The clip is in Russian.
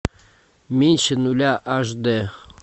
меньше нуля аш д